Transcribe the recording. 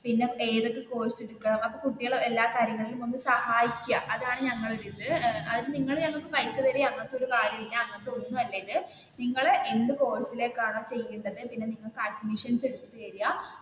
പിന്നെ ഏതൊക്കെ കോഴ്സ് എടുക്കണം അപ്പോ കുട്ടികളെ എല്ലാ കാര്യങ്ങളിലും ഒന്ന് സഹായിക്കുക അതാണ് ഞങ്ങളുടെ ഒരു ഇത് അത് നിങ്ങൾ ഞങ്ങൾക്ക് പൈസ തരുകയോ അങ്ങനത്തെ ഒരു കാര്യവും ഇല്ല അങ്ങനത്തെ ഒന്നുമല്ല ഇത് നിങ്ങൾ എന്ത് കോഴ്സിലേക്ക് ആണ് ച്ചേരേണ്ടത് പിന്നെ നിങ്ങൾക്ക് അഡ്മിഷൻസ് എടുത്തു തരിക